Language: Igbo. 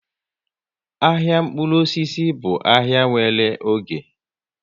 Ahịa mkpụrụ osisi bụ ahai nwere oge